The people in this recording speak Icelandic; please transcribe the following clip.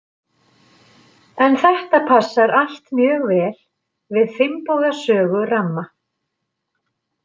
En þetta passar allt mjög vel við Finnboga sögu ramma.